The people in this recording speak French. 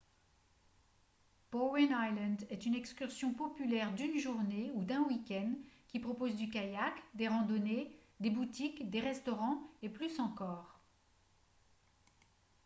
bowen island est une excursion populaire d'une journée ou d'un week-end qui propose du kayak des randonnées des boutiques des restaurants et plus encore